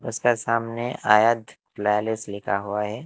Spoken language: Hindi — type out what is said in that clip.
उसके सामने आयध लिखा हुआ है।